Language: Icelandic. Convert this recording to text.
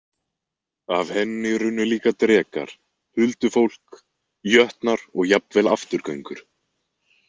Af henni runnu líka drekar, huldufólk, jötnar og jafnvel afturgöngur.